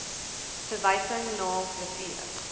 verwysing na riviere